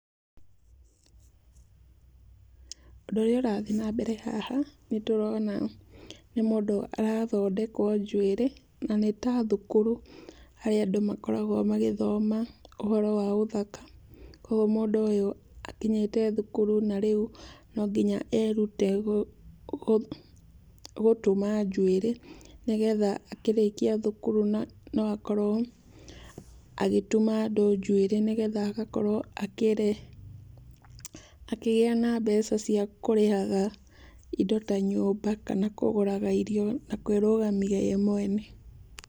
Ũndũ ũrĩa ũrathiĩ na mbere haha, nĩtũrona nĩ mundũ arathondekwo njuĩrĩ, na nĩ ta thukuru, harĩa andũ makoragwo magĩthoma ũhoro wa ũthaka. Ũguo mũndũ ũyũ rĩu, akinyĩte thukuru na no mũhaka erute gũtuma njuĩrĩ, nĩgetha akĩrĩkia thukuru no akorwo agĩtuma andũ njuĩrĩ nĩgetha agakorwo akĩgĩa na mbeca cia kũrĩhaga indo ta nyũmba, kana kũgũraga irio na kwĩrũgamia we mwene.